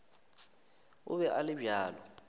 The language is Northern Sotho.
o be a le bjalo